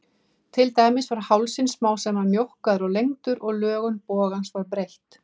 Til dæmis var hálsinn smám saman mjókkaður og lengdur og lögun bogans var breytt.